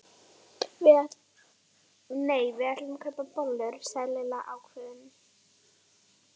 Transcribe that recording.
Nei, við ætlum að kaupa bollur sagði Lilla ákveðin.